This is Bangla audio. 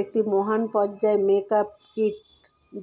একটি মহান পর্যায় মেকআপ কিট